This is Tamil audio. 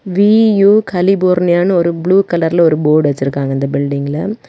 வீ_யு கலிபோர்னியான்னு ஒரு ப்ளூ கலர்ல ஒரு போர்டு வச்சிருக்காங்க அந்த பில்டிங்கில .